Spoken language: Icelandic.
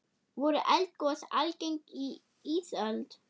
Voru eldgos algeng á ísöld?